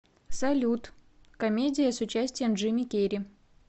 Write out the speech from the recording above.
салют комедия с участием джими керри